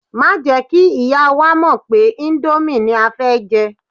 Má jẹ́ kí ìyá wa mọ̀ pé íńdómì ni a fẹ́ jẹ.